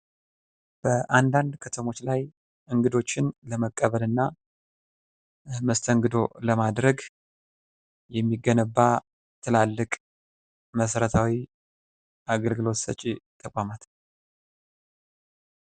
በአንዳንድ ከተሞች ላይ እንግዶችን ለመቀበልና መስተንግዶ ለማድረግ የሚገነባ ትላልቅ መሠረታዊ አገልግሎት ሰጪ ተቋም ነው።